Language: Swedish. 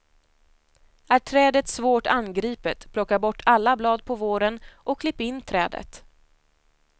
Är trädet svårt angripet plocka bort alla blad på våren och klipp in trädet.